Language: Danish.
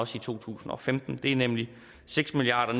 for to tusind og femten det er nemlig seks milliard